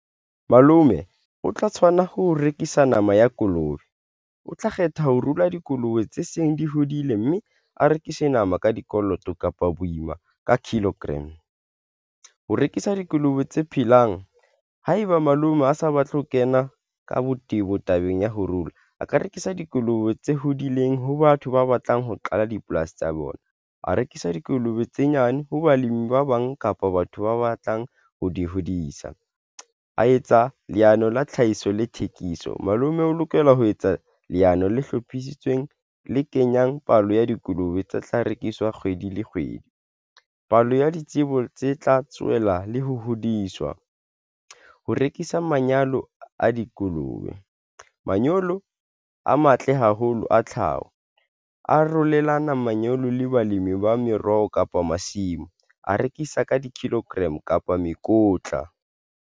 Malome o tla tshwana ho rekisa nama ya kolobe o tla kgetha ho ruwa dikolobe tse seng di hodile mme a rekise nama ka dikoloto kapa boima ka kilogram ho rekisa dikolobe tse phelang. Haeba malome a sa batle ho kena ka botebo tabeng ya ho rua, a ka rekisa dikolobe tse hodileng ho batho ba batlang ho qala dipolasi tsa bona. A rekisa dikolobe tse nyane ho balemi ba bang kapa batho ba batlang ho di hodisa, a etsa leano la tlhahiso le thekiso malome o lokela ho etsa leano le hlophisitsweng le kenyang palo ya dikolobe tsa tlhaho rekiswa kgwedi le kgwedi palo ya ditsebo tse tla tswela le ho hodiswa ho rekisa manyalo a dikolobe. Manyolo a matle haholo a tlhaho a arolelana manyolo le balemi ba meroho, kapa masimo a rekisa ka di-kilogram kapa mekotla.